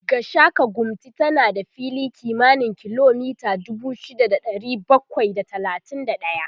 Gashaka-gumti tana da fili kimanin kilomita dubu shida da ɗari bakwai da talatin da ɗaya